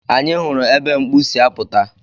Anyị hụrụ ebe mkpu si apụta.